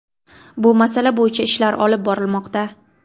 Bu masala bo‘yicha ishlar olib borilmoqda.